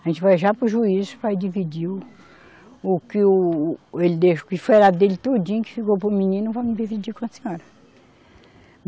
A gente vai já para o juiz para dividir o, o que o, o ele deixou, que foi a dele tudinho, que ficou para o menino, vamos dividir com a senhora.